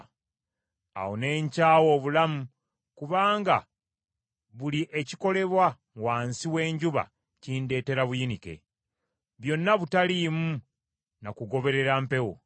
Awo ne nkyawa obulamu kubanga buli ekikolebwa wansi w’enjuba kindeetera buyinike. Byonna butaliimu na kugoberera mpewo.